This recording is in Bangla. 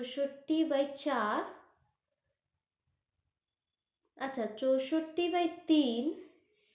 চৌষটি by চার আচ্ছা চৌষটি by তিন,